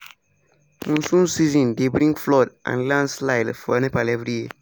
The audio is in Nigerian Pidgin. monsoon season dey bring flood and landslide for nepal every year.